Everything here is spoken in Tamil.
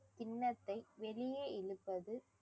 கிண்ணத்தை வெளியே இழுப்பது